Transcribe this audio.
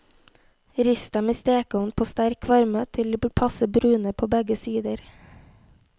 Rist dem i stekeovn på sterk varme, til de blir passe brune på begge sider.